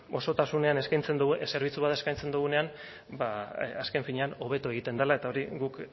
osotasunean eskaintzen dugu zerbitzu bat eskaintzen dugunean azken finean hobeto egiten dela eta hori guk